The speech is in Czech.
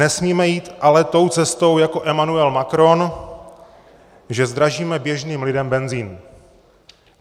Nesmíme jít ale tou cestou jako Emmanuel Macron, že zdražíme běžným lidem benzin.